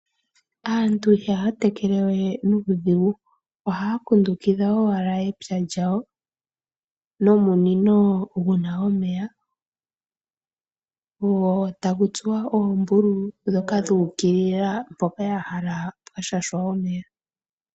Aantu ihaya tekelewe nuudhigu. ohaya kundukidha owala epya lyawo nomunino gotagu tsuwa oombululu dhuukilila mpoka ya hala pwa shashwa omeya